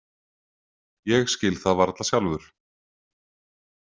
Ég skil það varla sjálfur.